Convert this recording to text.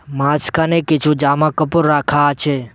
মাঝখানে কিছু জামাকাপড় রাখা আছে